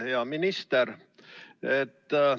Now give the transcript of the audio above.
Hea minister!